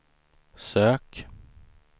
sök